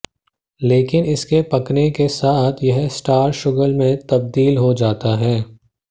लेकिन इसके पकने के साथ यह स्टार्च शुगर में तब्दील हो जाता है